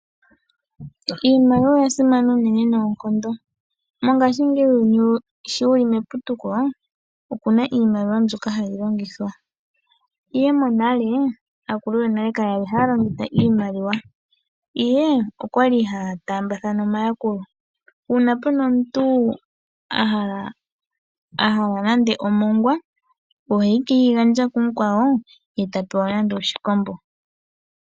Iimaliwa oya simana unene noonkondo. Mongashingeyi uuyuni sho wuli meputuko opuna iimaliwa mbyoka hayi longithwa, ihe monale aakulu yonale kayali haya longitha iimaliwa ihe okwali haya taambathana omayakulo. Uuna puna omuntu a hala nande omongwa ohekeyi gandja kumukwawo ye ta pewa nando oshikombo.